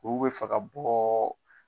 Olu be fɛ ka bɔ